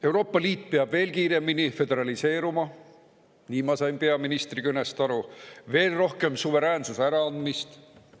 Euroopa Liit peab veel kiiremini föderaliseeruma – nii ma sain peaministri kõnest aru –, veel rohkem suveräänsuse äraandmist.